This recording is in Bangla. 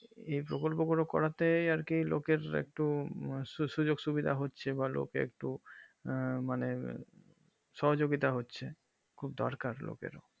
এই প্রকল্প গুলো করতে আর কি লোকের একটু সুযোগ সুবিধা হচ্ছে বা লোকে একটু আঃ মানে সহযোগিতা হচ্ছে খুব দরকার লোকেরও